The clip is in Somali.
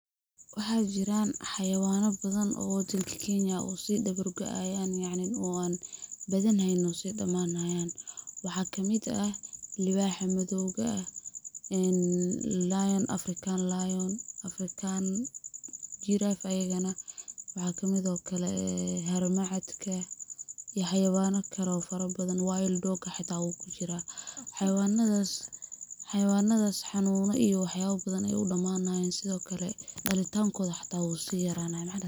Waxa jiran xawayana badan oo dalka Kenya oo si dabar goyan yacni oo an badan haynin oo si dhamaani hayan en waxa kamid ah libaxa madowga eh en African lion, African giraffe ayagana waxa kamido kale harmacadka iyo xawayana kale oo fara badan wild dog xita wuu kujiraa, xayawanadas xanuna iyo waxyaba ayay u dhamaani hayan, sidokale dhalitankoda xuta wuu si yarani haya.